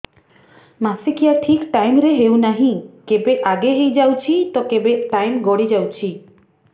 ମାସିକିଆ ଠିକ ଟାଇମ ରେ ହେଉନାହଁ କେବେ ଆଗେ ହେଇଯାଉଛି ତ କେବେ ଟାଇମ ଗଡି ଯାଉଛି